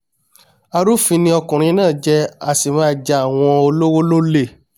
arúfin ni ọkùnrin náà jẹ́ a sì máa ja àwọn olówó l'ólè